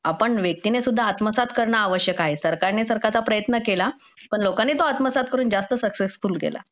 आपण व्यक्तीने सुद्धा आत्मसात करणं सरकारने सरकारचा प्रयत्न केला पण लोकांनी तो आत्मसात करून जास्त सक्सेसफुल केला